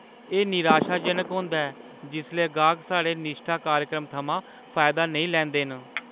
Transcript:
एह् निराशाजनक होंदा ऐ जिसलै गाह्क साढ़े निश्ठा कार्यक्रम थमां फायदा नेईं लैंदे न।